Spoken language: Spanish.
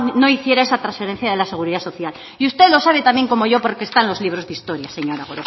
no hiciera esa transferencia de la seguridad social y usted lo sabe tan bien como yo porque está en los libros de historia señora